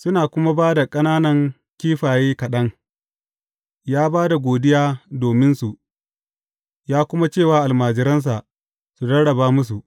Suna kuma da ƙananan kifaye kaɗan, ya ba da godiya dominsu, ya kuma ce wa almajiran su rarraba musu.